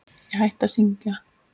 Ég hætti að syngja.